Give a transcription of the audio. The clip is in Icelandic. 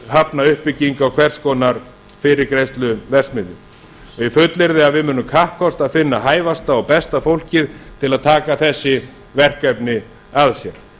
hafna uppbyggingu á hvers konar fyrirgreiðsluverksmiðjum ég fullyrði að við munum kappkosta að finna hæfasta og besta fólkið til að taka þessi verkefni að sér